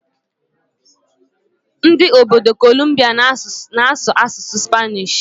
Ndị obodo Kolumbia na-asụ asụsụ Spanish.